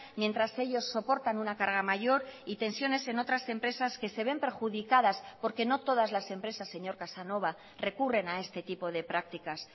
mientras ellos soportan una carga mayor y tensiones en otras empresas que se ven perjudicadas porque no todas las empresas señor casanova recurren a este tipo de prácticas